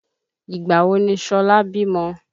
Ìgbà wo ni Ṣọlá bímọ?